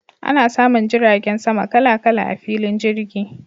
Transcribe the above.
Ana samun jiragen sama kala kala a filin jirgi.